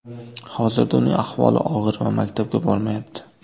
Hozirda uning ahvoli og‘ir va maktabga bormayapti.